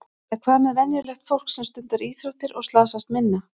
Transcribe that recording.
En hvað með venjulegt fólk sem stundar íþróttir og slasast minna?